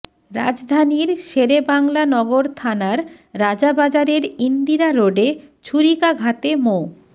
রাজধানীর শেরেবাংলা নগর থানার রাজাবাজারের ইন্দিরা রোডে ছুরিকাঘাতে মো